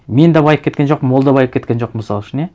мен де байып кеткен жоқпын ол да байып кеткен жоқ мысал үшін иә